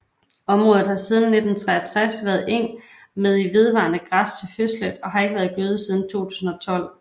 Området har siden 1963 været eng med i vedvarende græs til høslæt og har ikke været gødet siden 2002